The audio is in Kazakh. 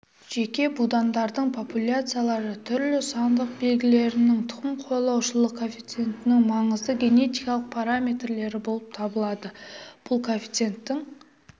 жеке будандардың популяциялары түрлі сандық белгілерінің тұқым қуалаушылық коэффициентінің маңызды генетикалық параметрлері болып табылады бұл коэффициенттің